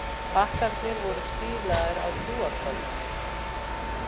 Pakkarnir voru stílaðir á trúarstofnanir